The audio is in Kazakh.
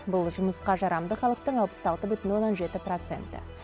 бұл жұмысқа жарамды халықтың алпыс алты бүтін оннан жеті проценті